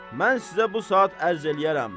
Mən sizə bu saat ərz eləyərəm.